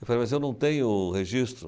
Eu falei, mas eu não tenho registro.